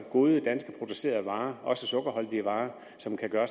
gode danskproducerede varer også sukkerholdige varer som kan gøre